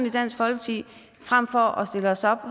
i dansk folkeparti at vi frem for at stille os op